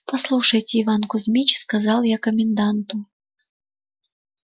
послушайте иван кузмич сказал я коменданту